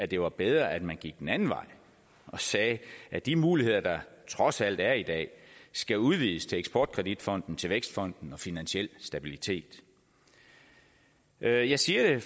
det var bedre at man gik den anden vej og sagde at de muligheder der trods alt er i dag skal udvides til eksport kredit fonden til vækstfonden og finansiel stabilitet jeg jeg siger det